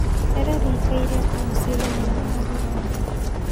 Rĩera rĩĩkaĩre atĩa mũcĩĩnĩ mũnene wa ruraya